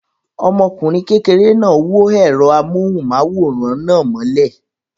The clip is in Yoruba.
Ọmọkùnrin kékeré náà wó ẹ̀rọ amóhùmáwòhán náà mọ́lẹ̀.